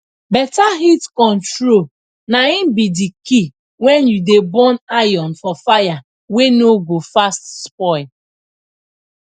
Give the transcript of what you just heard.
beta heat control na im be d key wen u dey burn iron for fire wey no go fast spoil